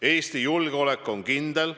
Eesti julgeolek on kindel.